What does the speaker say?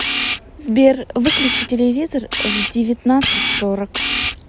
сбер выключи телевизор в девятнадцать сорок